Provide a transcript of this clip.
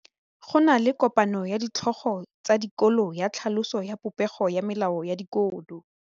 Go na le kopanô ya ditlhogo tsa dikolo ya tlhaloso ya popêgô ya melao ya dikolo.